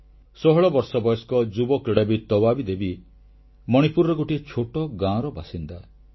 16 ବର୍ଷ ବୟସ୍କ ଯୁବ କ୍ରୀଡ଼ାବିତ୍ ତବାବୀ ଦେବୀ ମଣିପୁରର ଗୋଟିଏ ଛୋଟ ଗାଁର ବାସିନ୍ଦା